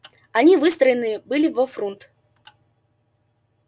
они выстроены были во фрунт